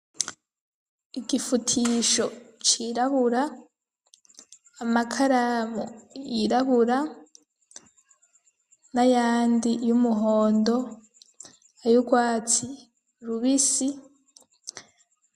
Igifutisho cirabura, amakaramu yirabura n'ayandi y'umuhondo, ay'urwatsi rubisi.